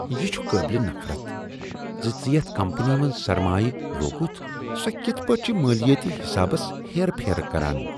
یِہ چھ قابلِ نفرت زِ ژےٚ یتھ کمپنی منٛز سرمایہ لوگُتھ سۄ کِتھ پٲٹھۍ چھ مالیٲتی حسابس ہیرٕ پھیرٕ کران ۔